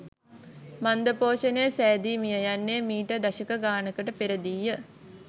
මන්දපෝෂණය සෑදී මිය යන්නේ මිට දශක ගානකට පෙරදීය